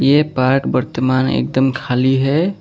ये पार्क वर्तमान एकदम खाली है।